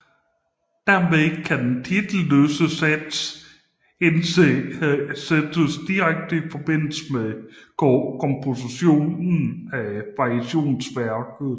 Dermed kan den titelløse sats sættes direkte i forbindelse med kompositionen af variationsværket